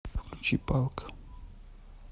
включи палк